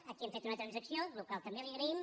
aquí hem fet una transacció la qual cosa també li agraïm